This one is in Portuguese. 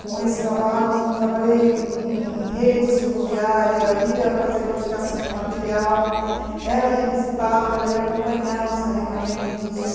Com esse trabalho, trabalhei em em redes ferroviárias, ia fazer classificação de material, era requisitada para ir acompanhar os carregamentos.